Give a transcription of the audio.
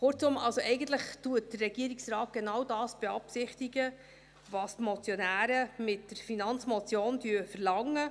Kurzum: Eigentlich beabsichtigt der Regierungsrat genau das, was die Motionäre mit der Finanzmotion verlangen.